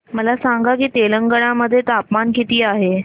मला सांगा की तेलंगाणा मध्ये तापमान किती आहे